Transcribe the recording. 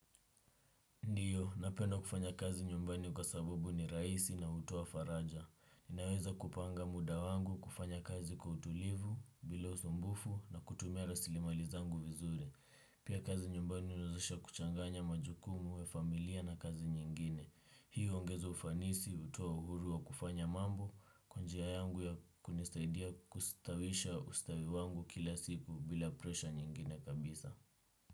Ndiyo, napenda kufanya kazi nyumbani kwa sababu ni rahisi na hutoa faraja. Ninaweza kupanga muda wangu, kufanya kazi kwa utulivu, bila usumbufu, na kutumi rasilimali zangu vizuri. Pia kazi nyumbani huniwezesha kuchanganya majukumu ya familia na kazi nyingine. Hiyo huongeza ufanisi, hutoa uhuru wa kufanya mambo, kwa njia yangu ya kunisaidia kustawisha ustawi wangu kila siku bila presha nyingine kabisa.